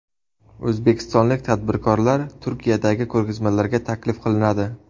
O‘zbekistonlik tadbirkorlar Turkiyadagi ko‘rgazmalarga taklif qilinadi.